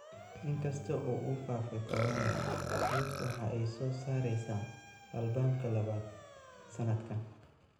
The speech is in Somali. In kasta oo uu faafay Corona, Swift waxa ay soo saaraysaa albamka labaad sanadkan.